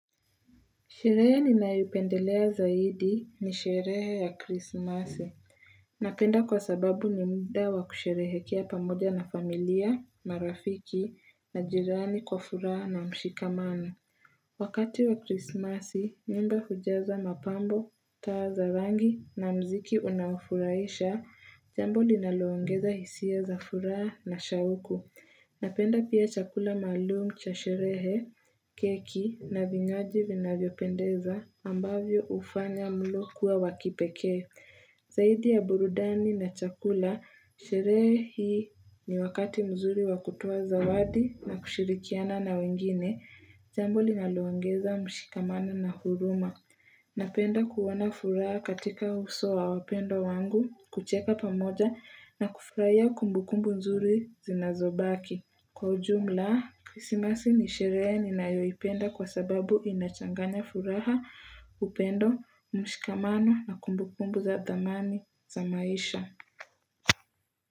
Sherehe ninayoipendelea zaidi ni sherehe ya krismasi. Napenda kwa sababu ni mda wa kusherehekea pamoja na familia, marafiki, na jirani kwa furaha na mshikamano. Wakati wa krismasi, nyumba hujaza mapambo, taa za rangi na mziki unaofurahisha, jambo linaloongeza hisia za furaha na shauku. Napenda pia chakula malum cha sherehe, keki na vinywaji vinavyopendeza ambavyo hufanya mlo kuwa wa kipekee. Zaidi ya burudani na chakula, sherehi ni wakati mzuri wa kutoa zawadi na kushirikiana na wengine, jambo linaloongeza mshikamano na huruma. Napenda kuona furaha katika uso wa wapendo wangu, kucheka pamoja na kufraia kumbukumbu nzuri zinazobaki. Kwa ujumla, krisimasi ni sherehe ninayoipenda kwa sababu inachanganya furaha, upendo, mshikamano na kumbukumbu za dhamani za maisha.